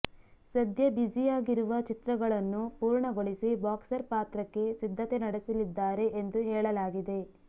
ಸದ್ಯ ಬ್ಯುಸಿಯಾಗಿರುವ ಚಿತ್ರಗಳನ್ನು ಪೂರ್ಣಗೊಳಿಸಿ ಬಾಕ್ಸರ್ ಪಾತ್ರಕ್ಕೆ ಸಿದ್ಧತೆ ನಡೆಸಲಿದ್ದಾರೆ ಎಂದು ಹೇಳಲಾಗಿದೆ